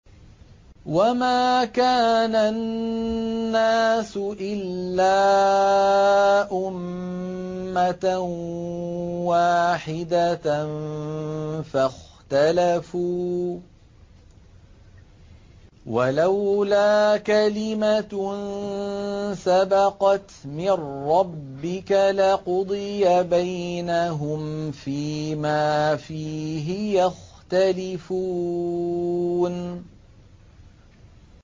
وَمَا كَانَ النَّاسُ إِلَّا أُمَّةً وَاحِدَةً فَاخْتَلَفُوا ۚ وَلَوْلَا كَلِمَةٌ سَبَقَتْ مِن رَّبِّكَ لَقُضِيَ بَيْنَهُمْ فِيمَا فِيهِ يَخْتَلِفُونَ